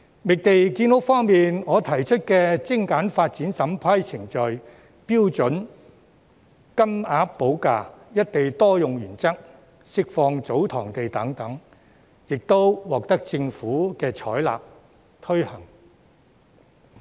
覓地建屋方面，我提出精簡發展審批程序、標準金額補價、"一地多用"原則、釋放祖堂地等建議，亦獲得政府採納和推行。